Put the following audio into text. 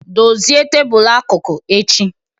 Dozie tebul akụkụ echi!